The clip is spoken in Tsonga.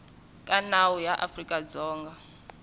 ka nawu ya afrika dzonga